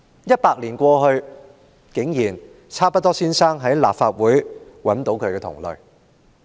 一百年過去，差不多先生竟然在立法會中找到他的同類。